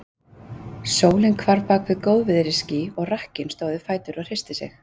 Sólin hvarf bak við góðviðrisský, og rakkinn stóð á fætur og hristi sig.